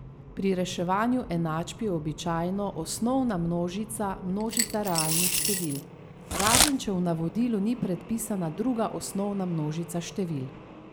Pri reševanju enačb je običajno osnovna množica množica realnih števil, razen če v navodilu ni predpisana druga osnovna množica števil.